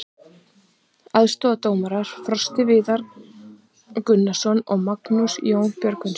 Aðstoðardómarar: Frosti Viðar Gunnarsson og Magnús Jón Björgvinsson.